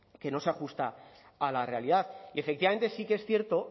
que no se ajusta a la realidad y efectivamente sí que es cierto